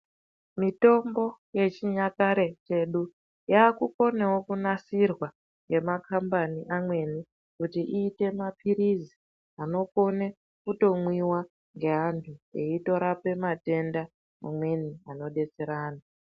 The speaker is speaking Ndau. Mitombo ye chinyakare chedu yakukonawo ku nasirwa ne makambani amweni kuti iite mapirisi anokone kuto mwiwa nge antu eito rapa matenda amweni ano detsera antu.